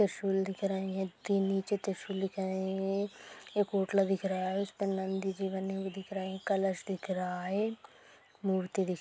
त्रिशूल दिख रहे है तीन नीचे त्रिशूल दिखाई दे रहे है एक पोटला दिख रहा है उपर नंदीजी बने हुवे दिख रहे है कलश दिख रहा है मूर्ति दिख--